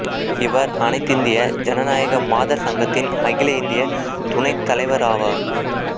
இவர் அனைத்திந்திய ஜனநாயக மாதர் சங்கத்தின் அகில இந்திய துணைத் தலைவராவார்